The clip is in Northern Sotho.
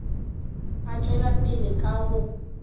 a tšwela pele ka go